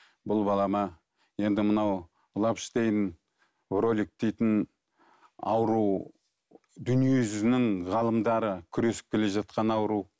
бұл балама енді мынау лавштейн ролик дейтін ауру дүние жүзінің ғалымдары күресіп келе жатқан ауру